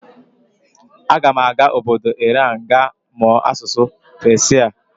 Aga m aga obodo Iran ga mụọ asụsụ Peshia.